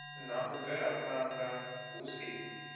na u bvelaphanda hu si